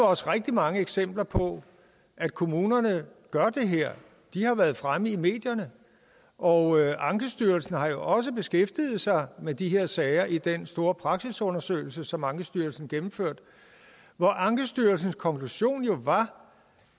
også rigtig mange eksempler på at kommunerne gør det her de har været fremme i medierne og ankestyrelsen har jo også beskæftiget sig med de her sager i den store praksisundersøgelse som ankestyrelsen gennemførte hvor ankestyrelsens konklusion var